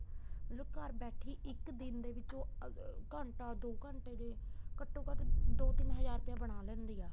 ਮਤਲਬ ਘਰ ਬੈਠੀ ਇੱਕ ਦਿਨ ਦੇ ਵਿੱਚ ਉਹ ਘੰਟਾ ਦੋ ਘੰਟੇ ਜ਼ੇ ਘੱਟੋ ਘੱਟ ਦੋ ਤਿੰਨ ਹਜ਼ਾਰ ਰੁਪਇਆ ਬਣਾ ਲੈਂਦੀ ਆ